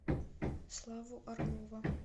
славу орлова